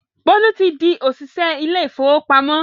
Bólú ti di òṣìṣẹ́ ilé ìfowópamọ́